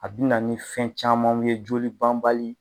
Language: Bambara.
A bɛna ni fɛn camanw ye joli banbali.